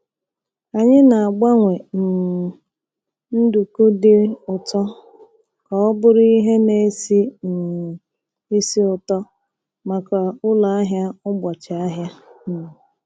Anyị na-agbanwe um nduku dị ụtọ ka ọ bụrụ ihe na-esi um ísì ụtọ maka ụlọ ahịa ụbọchị ahịa. um